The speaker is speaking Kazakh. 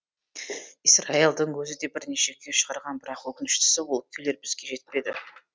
исраилдың өзі де бірнеше күй шығарған бірақ өкініштісі ол күйлер бізге жетпеді